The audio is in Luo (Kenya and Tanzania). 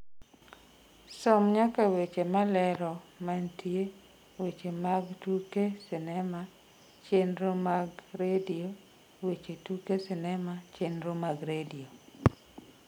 som nyaka weche malero mantie weche mag tuke sinema chenro mag redio weche tuke sinema chenro mag redio